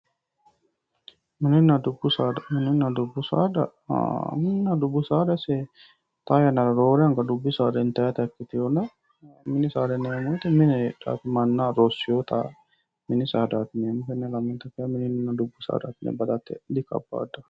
Mininna dubbu saada, mininna dubbu saada isi xaa yannara roore anga dubbi saada intannitta ikkitinonna ,mini saada yinnanni woyte mine heedhanote mannaho horo uyittanotta, tenera mininna dubbu saada yinne badate dikabadano.